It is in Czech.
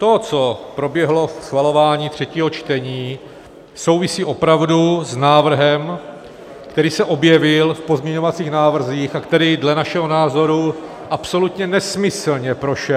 To, co proběhlo při schvalování třetího čtení, souvisí opravdu s návrhem, který se objevil v pozměňovacích návrzích a který dle našeho názoru absolutně nesmyslně prošel -